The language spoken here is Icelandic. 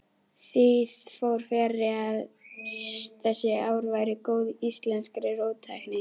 Því fór fjarri að þessi ár væru góð íslenskri róttækni.